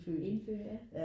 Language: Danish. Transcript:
Indfødte ja